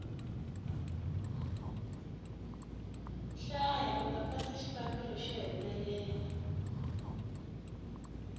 hlaya uta pasa xikambelo xo hetelela